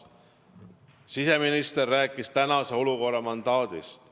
Siseminister rääkis tänase olukorra mandaadist.